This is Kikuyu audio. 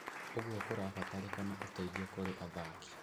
Ũguo kũrabataranĩka ũteithio kũrĩ athaki.